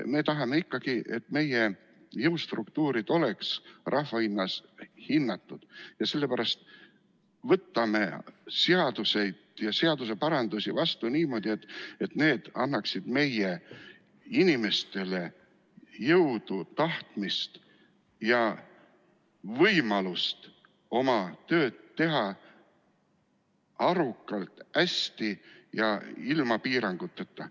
Me tahame ikkagi, et meie jõustruktuurid oleks rahva hulgas hinnatud, ja sellepärast võtame seaduseid ja seaduseparandusi vastu niimoodi, et need annaksid meie inimestele jõudu, tahtmist ja võimalust teha oma tööd arukalt, hästi ja ilma piiranguteta.